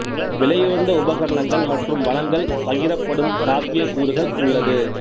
விலையுயர்ந்த உபகரணங்கள் மற்றும் வளங்கள் பகிரப்படும் சாத்யக் கூறுகள் உள்ளது